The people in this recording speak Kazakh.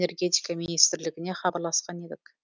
осы мақсатта энергетика министрлігіне хабарласқан едік